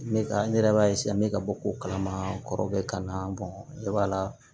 N bɛ ka ne yɛrɛ b'a n bɛ ka bɔ ko kalama kɔrɔkɛ ka na ne b'a la